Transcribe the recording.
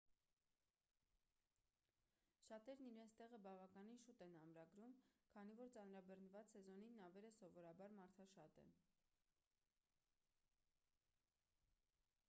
շատերն իրենց տեղը բավականին շուտ են ամրագրում քանի որ ծանրաբեռնված սեզոնին նավերը սովորաբար մարդաշատ են։